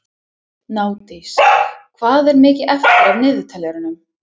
Gnádís, hvað er mikið eftir af niðurteljaranum?